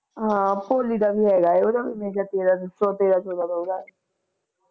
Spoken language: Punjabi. ਹਾ ਭੋਲੀ ਦਾ ਵੀ ਹੇਗਾ ਏ ਉਹਦਾ ਵੀ ਮੇਰਾ ਖਿਆਲ ਤੇਰਾ ਤੇਰਾ ਚੋਦਾ ਦਾ ਓਹਦਾ